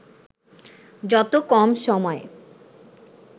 যত কম সময়